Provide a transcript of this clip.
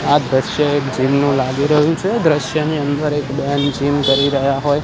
આ દ્રશ્ય એક જીમ નુ લાગી રહ્યુ છે દ્રશ્યની અંદર એક બેન જીમ કરી રહ્યા હોઈ --